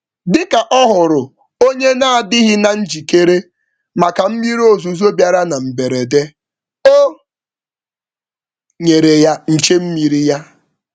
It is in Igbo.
Dịka ọhụrụ onye n'adịghị na njikere màkà mmiri ozuzo bịara na mberede, o nyere ya nche-mmiri ya.